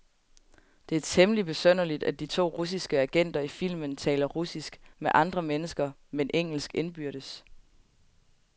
Det er temmeligt besynderligt, at de to russiske agenter i filmen taler russisk med andre mennesker, men engelsk indbyrdes.